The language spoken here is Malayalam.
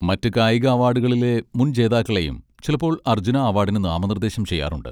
മറ്റ് കായിക അവാഡുകളിലെ മുൻ ജേതാക്കളെയും ചിലപ്പോൾ അർജുന അവാഡിന് നാമനിർദ്ദേശം ചെയ്യാറുണ്ട്.